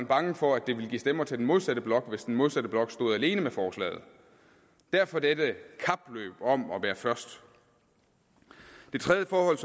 bange for at det ville give stemmer til den modsatte blok hvis den modsatte blok stod alene med forslaget derfor dette kapløb om at være først det tredje forhold